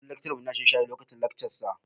Kullum laccarar mu ya na shan shayi lokacin laccar sa